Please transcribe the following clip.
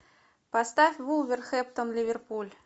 поставь вулверхэмптон ливерпуль